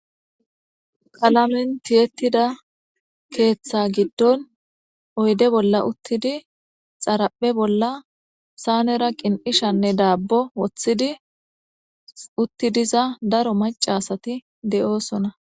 Qalamentiyettida keeththa giddon oyde bolla uttidi xaraphe bolla saanera qin'ishanne daabbo woththidi uttidiza daro macasati de'oosona